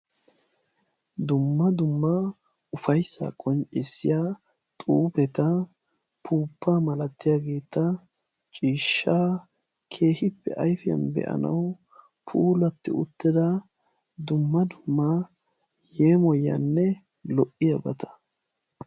Dumma dumma ufayssaa qonccisiyaa xuufetta upuupaa malatiyaageta ciishshaa keehippe ayfiyaan be"anawu puullatti uttida dumma dumma yeemoyiyaanne lo"iyaabata.